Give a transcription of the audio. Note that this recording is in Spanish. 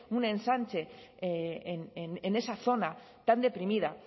un ensanche en esa zona tan deprimida